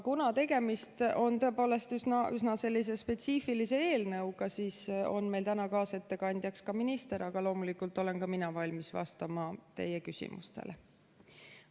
Kuna tegemist on tõepoolest üsna spetsiifilise eelnõuga, siis on meil täna kaasettekandjaks ka minister, aga loomulikult olen ka mina valmis vastama teie küsimustele.